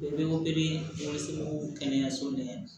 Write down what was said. U bɛ so kɛnɛyaso ɲɛ